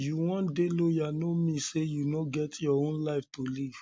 you wan dey loyal no mean no mean sey you no get your own life to live